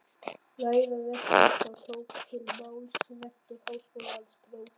Ræða rektors Þá tók til máls rektor Háskólans próf.